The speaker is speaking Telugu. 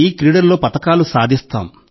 ఈ క్రీడల్లో పతకాలు సాధిస్తాం